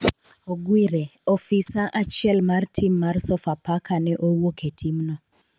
Ogwire, ofisa achiel mar tim mar sofapaka ne owuok e timno